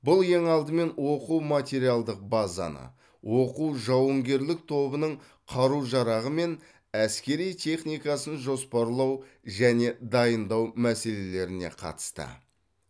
бұл ең алдымен оқу материалдық базаны оқу жауынгерлік тобының қару жарағы мен әскери техникасын жоспарлау және дайындау мәселелеріне қатысты